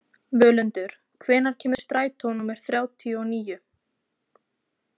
Völundur, hvenær kemur strætó númer þrjátíu og níu?